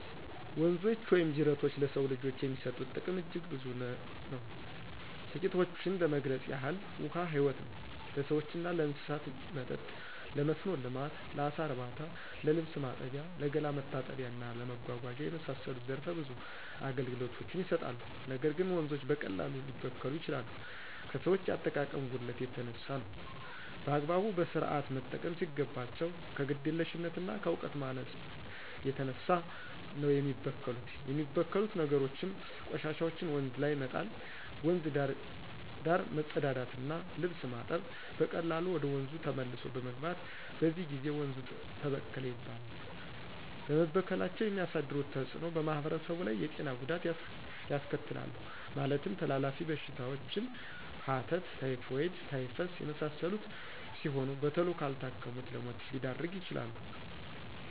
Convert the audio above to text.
ወንዞች ወይም ጅረቶች ለሰው ልጆች የሚሰጡት ጥቅም አጅግ ብዙ ነው ትቂቶችን ለመግለጽ ያህል ውሀ ህይወት ነው ለሰዎችና ለእንስሳት መጠጥ :ለመስኖ ልማት: ለአሳ እርባታ :ለልብስ ማጠቢያ :ለገላ መታጠቢያና እና ለመጓጓዛነት የመሳሰሉት ዘረፈ ብዙ አገልግሎት ይሰጣሉ ነገር ግን ወንዞች በቀላሉ ሊበከሉ ይችላሉ ከሰዎች የአጠቃቀም ጉድለት የተነሳ ነው። በአግባቡ በስርአት መጠቀም ሲገባቸው ከግዴለሽነትና ከእውቀት ማነስ የተነሳ ነው የሚበከሉት የሚበክሉት ነገሮችም :ቆሻሻዎችን ወንዝ ላይ መጣል :ወንዝ ዳር መጸዳዳትና ልብስ ማጠብ በቀላሉ ወደ ወንዙ ተመልሶ በመግባት በዚህ ጊዜ ወንዙ ተበከለ ይባላል በመበከላቸው የሚያሳድሩት ተጽእኖ በማህበረሰቡ ላይ የጤና ጉዳት ያስከትላሉ ማለትም ተላላፊ በሽታዎችን ሐተት :ታይፎይድ :ታይፈስ የመሳሰሉት ሲሆኑ በተሎ ካልታከሙት ለሞት ሊዳርጉ ይችላሉ።